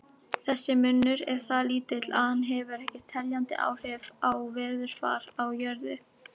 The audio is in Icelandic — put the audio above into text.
Þessi munur er það lítill að hann hefur ekki teljandi áhrif á veðurfar á jörðu.